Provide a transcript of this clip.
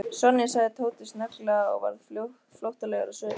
Sonja sagði Tóti snögglega og varð flóttalegur á svip.